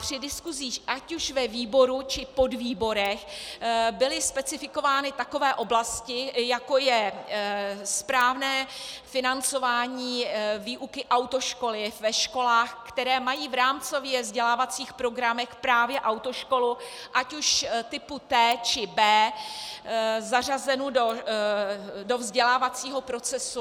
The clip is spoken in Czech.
Při diskusích ať už ve výboru, či podvýborech byly specifikovány takové oblasti, jako je správné financování výuky autoškoly ve školách, které mají v rámcově vzdělávacích programech právě autoškolu ať už typu T, či B zařazenu do vzdělávacího procesu.